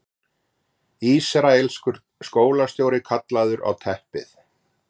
Ísraelskur skólastjóri kallaður á teppið